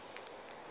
ge ba fihla fao ba